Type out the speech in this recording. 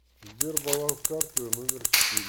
сбер баланс карты номер четыре